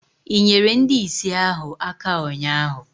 i nyeere ndị ìsì ahụ aka ụnyahụ?